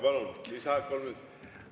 Palun, lisaaeg kolm minutit!